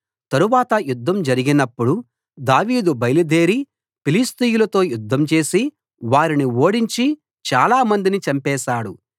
తరువాత యుద్ధం జరినప్పుడు దావీదు బయలుదేరి ఫిలిష్తీయులతో యుద్ధం చేసి వారిని ఓడించి చాలామందిని చంపేశాడు